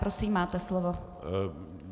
Prosím, máte slovo.